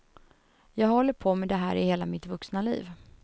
Jag har hållit på med det här i hela mitt vuxna liv.